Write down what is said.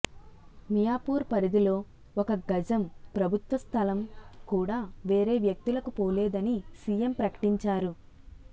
మి యాపూర్ పరిధిలో ఒక్క గజం ప్రభుత్వ స్థలం కూడా వేరే వ్యక్తులకు పోలేదని సిఎం ప్రకటించారు